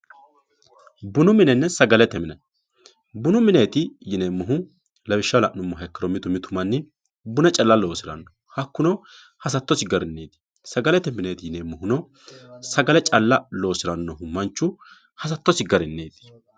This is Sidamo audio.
bunu minenna sagalete mine bunu mineeti yinannihu lawishshaho la'numoro mitu mitu manni buna calla loosiranno hakkuno hasattosi garinniiti sagalete mine yinannihuno sagale calla loosirannohu manchu hasattosi garinniiti.